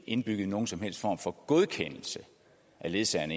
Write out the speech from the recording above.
indbygget nogen som helst form for godkendelse af ledsageren